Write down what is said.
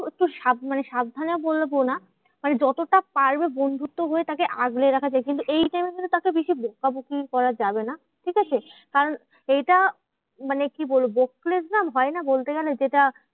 একটু সাব মানে সাবধানে বলবো না, মানে যতটা পারবে বন্ধুত্ব হয়ে তাকে আগলে রাখা যায়। কিন্তু এই time এ কিন্তু তাকে বেশি বকাবকি করা যাবে না, ঠিকাছে? কারণ এইটা মানে কি বলবো? হয় না বলতে গেলে যেটা